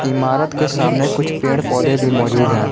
इमारत के सामने कुछ पेड़ पौधे भी मौजूद हैं।